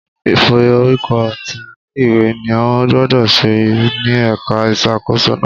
Ìf'orúkọ ti ilé ìwé ni ó gbúdọ̀ ṣẹlẹ̀ ní ẹ̀ka ìṣàkóso náà.